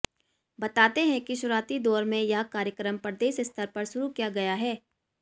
बताते हैं कि शुरूआती दौर में यह कार्यक्रम प्रदेश स्तर पर शुरू किया गया है